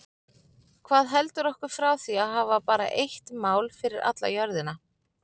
Hvað heldur okkur frá því að hafa bara eitt mál fyrir alla jörðina?